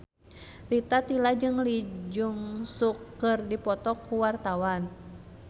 Rita Tila jeung Lee Jeong Suk keur dipoto ku wartawan